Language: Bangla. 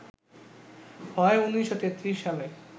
হয় ১৯৩৩ সালে